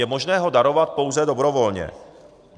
Je možné ho darovat pouze dobrovolně.